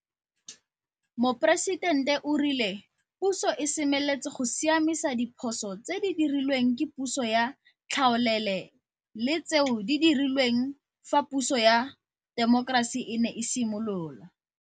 Moporesitente o rile puso e semeletse go siamisa diphoso tse di dirilweng ke puso ya tlhaolele le tseo di dirilweng fa puso ya temokerasi e ne e simolola.